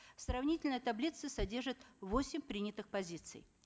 сравнительная таблица содержит восемь принятых позиций